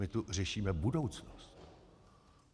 My tu řešíme budoucnost.